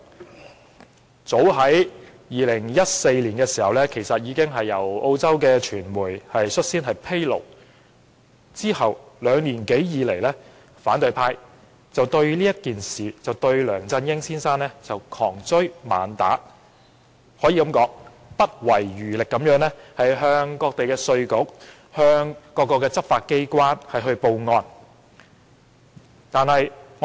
這事早在2014年由澳洲傳媒披露，之後兩年多，反對派一直就此對梁振英先生窮追猛打，不遺餘力地向各地稅局和執法機關報案。